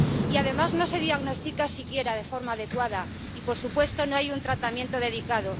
Y, además, no se diagnostica siquiera de forma adecuada y, por supuesto, no hay un tratamiento específico.